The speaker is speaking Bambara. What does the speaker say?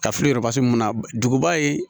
Ka fili mun na duguba ye